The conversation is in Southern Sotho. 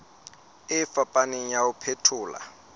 e fapaneng ya ho phethola